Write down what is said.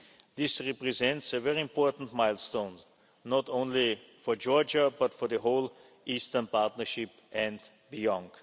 This represents a very important milestone not only for Georgia, but for the whole Eastern Partnership and the